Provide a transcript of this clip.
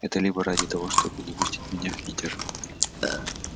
это либо ради того чтобы не пустить меня в питер